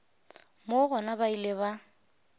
moo gona ba ile ba